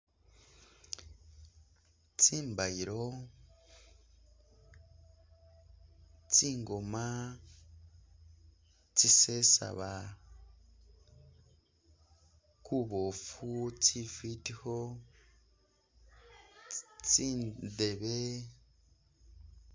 Tsimbayilo, tsingoma tsisesaba kubofu, tsifitikho, tsindebe.